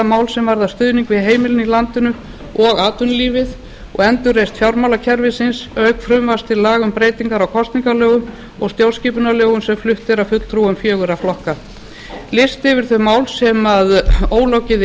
mál sem varða stuðning við heimilin í landinu og atvinnulífið og endurreisn fjármálakerfisins auk frumvarps til laga um breytingar á kosningalögum og stjórnskiupnarlögum sem flutt eru af fulltrúum fjögurra flokka listi yfir þau mál sem ólokið